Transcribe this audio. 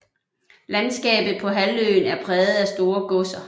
Landskabet på halvøen er præget af store godser